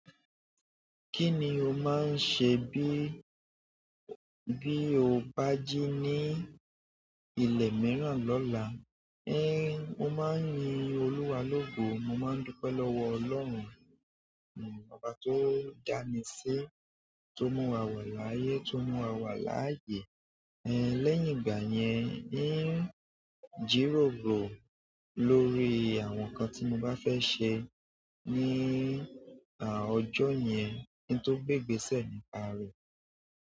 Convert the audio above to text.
Kí ni o máa ń ṣe bí, bí o bá jí ní ilẹ̀ mìíràn lọ́la? Ẹn, mo máa ń yin Olúwa lógo, mo máa ń dúpẹ́ lọ́wọ́ Ọlọ́run, Baba tó dá mi sí, tó mú wa wẹ̀ láyé, tó mú wa wà láàyè. Ẹ̀n, lẹ́yìn ìgbà yẹn, ń jíróro lórí àwọn nǹkan tí mo bá fẹ́ ṣe ní, à, ọjọ́ yẹn, kí n tó gbégbésẹ̀ nípa rẹ̀.